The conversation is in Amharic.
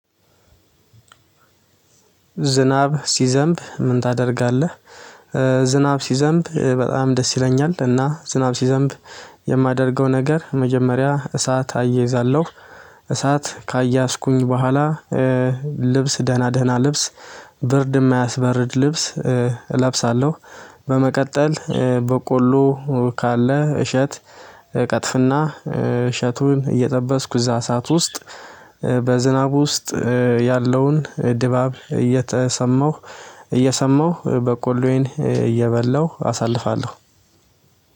ዝናብ ሲዘንብ ምን ታደርጋለህ? ዝናብ ሲዘንብ በጣም ደስ ይለኛል እና ዝናብ ሲዘንብ የማደርገው ነገር የመጀመሪያ እሳት እያያዛለሁ እሳት ካያያዝኩኝ በኋላ ልብስ ደህና ደህና ልብስ ብርድም አያስበርድ ልብስ እለብሳለሁ በመቀጠል በቆሎ ካለ እሸት ቀጥፍና እሳቱን እየጠበስኩ እዛ ሳሰት ውስጥ በዝናብ ውስጥ ያለውን ድባብ እየተሰማኝ እየሰማሁ በቆሎዬን እየበላሁ አሳልፋለሁ